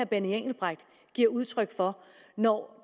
benny engelbrecht giver udtryk for når